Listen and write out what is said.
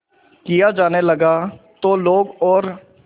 किया जाने लगा तो लोग और